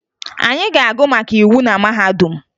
Anyị ga-agụ maka iwu na mahadum